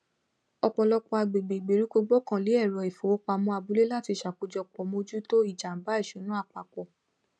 ọpọlọpọ agbègbè ìgbèríko gbọkànlé èrò ifowópamọ abúlé láti ṣakojọpọ mójútó ìjàmbá ìṣúná apapọ